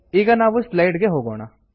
ಈಗ ನಾವು ಸ್ಲೈಡ್ಸ್ ಗೆ ಹೋಗೋಣ